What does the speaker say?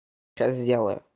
сейчас сделаю